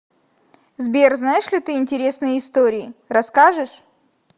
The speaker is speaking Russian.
сбер знаешь ли ты интересные истории расскажешь